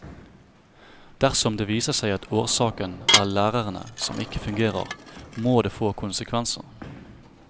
Dersom det viser seg at årsaken er lærere som ikke fungerer, må det få konsekvenser.